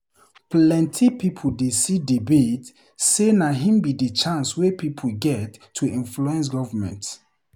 Plenty pipo dey see debate sey na di chance wey pipo get to influence government.